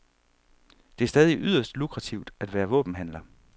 Det er stadig yderst lukrativt at være våbenhandler.